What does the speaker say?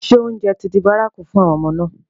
Ṣé oúnjẹ ti di bárakú fún àwọn ọmọ náà?